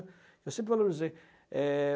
Eu sempre valorizei. É...